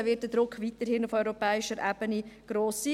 Da wird der Druck auf europäischer Ebene weiterhin gross sein.